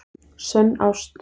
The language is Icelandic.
Sönn ást